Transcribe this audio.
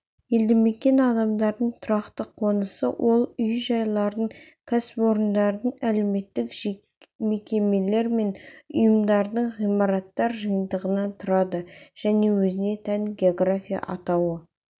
елді мекен адамдардың тұрақты қонысы ол үй-жайлардың кәсіпорындардың әлеуметтік мекемелер мен ұйымдардың ғимараттар жиынтығынан тұрады және өзіне тән география атауы